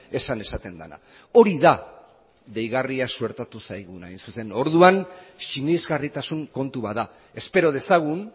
esan esaten dena hori da deigarria suertatu zaiguna hain zuzen orduan sinesgarritasun kontu bat da espero dezagun